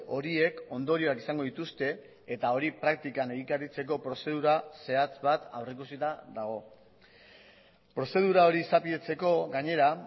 horiek ondorioak izango dituzte eta hori praktikan egikaritzeko prozedura zehatz bat aurrikusita dago prozedura hori izapidetzeko gainera